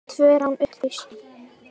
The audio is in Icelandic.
Tvö rán upplýst